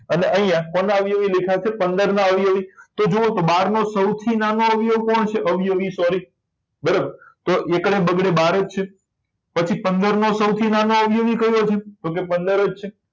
અને અહીંયા કોના અવયવી લખ્યા છે પંદર ના અવયવી લખ્યા છે તો જુઓ તો બાર નો સૌથી નાનો અવયવ કોણ છે અવયવી sorry બરાબર તો એકડે બગડે બાર છે પછી પંદર નો સૌથી નાનો અવયવી કયો છે તો કે પંદર જ છે